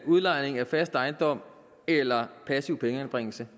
udlejning af fast ejendom eller passiv pengeanbringelse